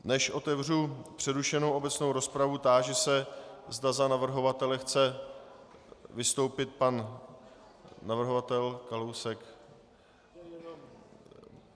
Než otevřu přerušenou obecnou rozpravu, táži se, zda za navrhovatele chce vystoupit pan navrhovatel Kalousek.